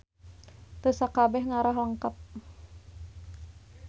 Teu sakabeh ngarah lengkep.